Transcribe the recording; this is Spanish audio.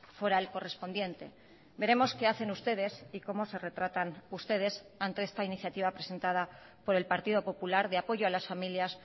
foral correspondiente veremos qué hacen ustedes y cómo se retratan ustedes ante esta iniciativa presentada por el partido popular de apoyo a las familias